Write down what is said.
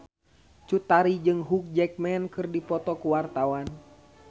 Cut Tari jeung Hugh Jackman keur dipoto ku wartawan